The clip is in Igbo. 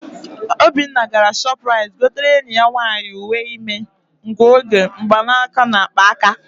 Obinna gara Shọpụraịt gotere enyi ya nwaanyị uwe ime, ngụoge mgbanaka na akpa aka.